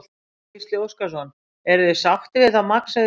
Gísli Óskarsson: Eruð þið sáttir við það magn sem þið fáið?